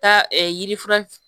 Taa yiri fer